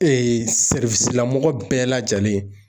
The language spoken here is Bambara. Ee sɛriwisi la mɔgɔ bɛɛ lajɛlen